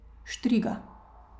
Štriga.